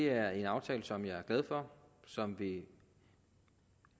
er en aftale som jeg er glad for og som vil